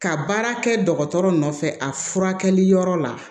Ka baara kɛ dɔgɔtɔrɔ nɔfɛ a furakɛli yɔrɔ la